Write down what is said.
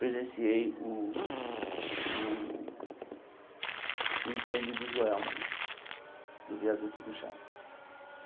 Presenciei o o o incêndio do Joelma né, do Viaduto do Chá.